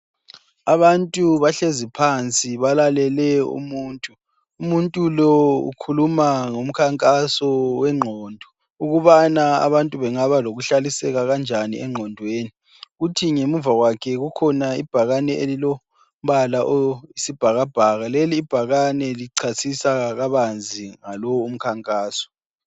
Abantu bahlezi phansi ,balalele umuntu .Umuntu lo ukhuluma ngomkhankaso wengqondo ukubana abantu bengaba lokuhlaliseka kanjani engqondweni. Kuthi ngemuva kwakhe kukhona ibhakane elilombala okwesibhakabhaka, leli ibhakane licasisa kabanzi ngalowu umkhankaso.